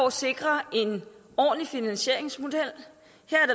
at sikre en ordentlig finansieringsmodel